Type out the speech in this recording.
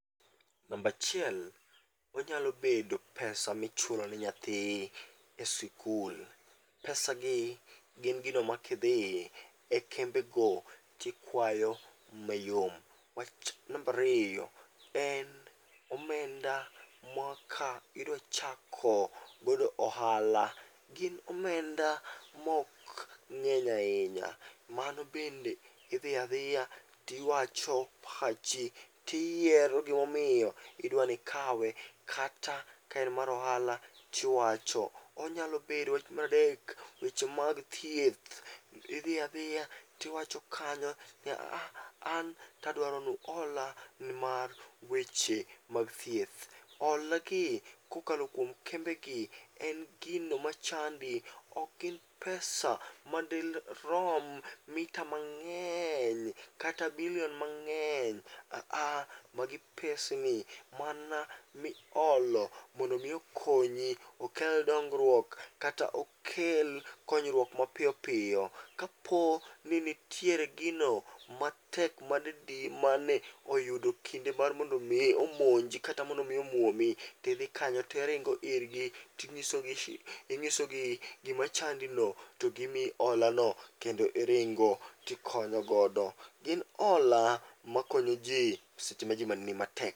Nambachiel, onyalo bedo pesa michulo ne nyathi e sikul, pesa gi gin gino makidhiye e kembe go tikwayo mayom. Wach nambariyo, en omenda mwaka idwachako godo ohala gin omenda mok ng'eny ahinya. Mano bende idhi adhiya, tiwacho pachi tiyiero gimomiyo idwanikawe kata kaen mar ohala tiwacho. Onyalo bedo wach maradek weche mag thieth, idhi adhiya tiwacho kanyo ni aah, an tadwaro ni uhola nimar weche mag thieth. Hola gi kokalo kuom kembe gi en gino machandi ok gin pesa madirom mita mang'eny kata billion mang'eny. Aha, magi pesni mana miholo mondo mi okonyi okel dongruok kata okel konyruok mapiyo piyo. Kapo ni nitiere gino matek madidi mane oyudo kinde mar mondo mi omonji kata omuomi, tidhi kanyo tiringo irgi ting'isogi shi ing'isogi gima chandi no togimiyo hola no kendo iringo tikonyogodo. Gin hola makonyo ji seche ma ji ni matek.